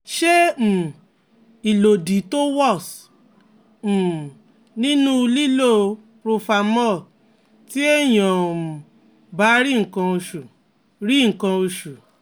Se um ilodi to was um ninu lilo profamol ti eniyan o um ba ri nkan osu ri nkan osu